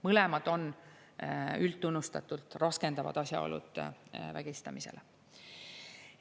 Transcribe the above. Mõlemad on üldtunnustatult raskendavad asjaolud vägistamise puhul.